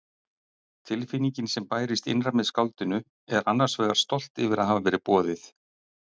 Tilfinningin sem bærist innra með skáldinu er annars vegar stolt yfir að hafa verið boðið.